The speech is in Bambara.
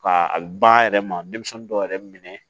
Ka a ba yɛrɛ ma denmisɛnnin dɔw yɛrɛ minɛ